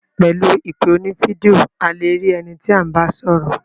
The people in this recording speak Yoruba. Pẹ̀lu ìpè oní video,a le rí ẹni tí à ń bá sọ́rọ̀.